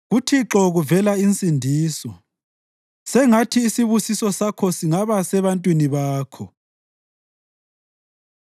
KuThixo kuvela insindiso. Sengathi isibusiso Sakho singaba sebantwini Bakho.